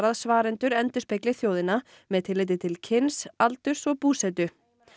svarendur endurspegli þjóðina með tilliti til kyns aldurs og búsetu